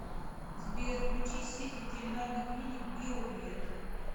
сбер включи сеть ветеринарных клиник био вет